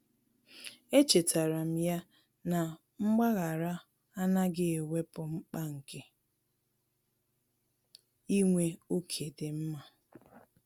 Echetara m ya na mgbaghara anaghị ewepụ mkpa nke inwe ókè dị mma.